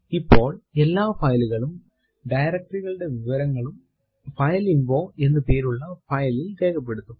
ഇപ്പോൾ എല്ലാ file കളും directory കളുടെ വിവരങ്ങളും ഫൈലിൻഫോ എന്ന് പേരുള്ള file ൽ രേഖപ്പെടുത്തും